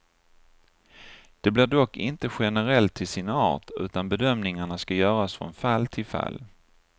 Det blir dock inte generellt till sin art, utan bedömningarna ska göras från fall till fall.